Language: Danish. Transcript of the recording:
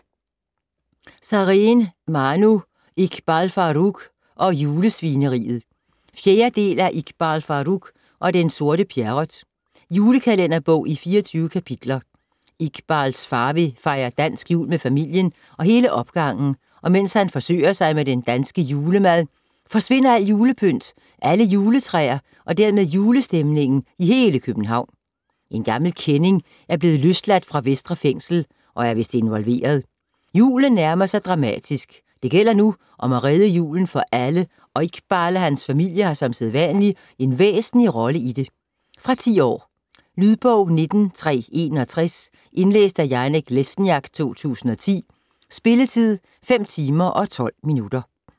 Sareen, Manu: Iqbal Farooq og julesvineriet 4. del af Iqbal Farooq og den sorte Pjerrot. Julekalenderbog i 24 kapitler. Iqbals far vil fejre dansk jul med familien og hele opgangen, og mens han forsøger sig med den danske julemad, forsvinder alt julepynt, alle juletræer og dermed julestemningen i hele København. En gammel kending er blevet løsladt fra Vestre Fængsel, og er vist involveret. Julen nærmer sig dramatisk. Det gælder nu om at redde julen for alle, og Iqbal og hans familie har som sædvanlig en væsentlig rolle i det. Fra 10 år. Lydbog 19361 Indlæst af Janek Lesniak, 2010. Spilletid: 5 timer, 12 minutter.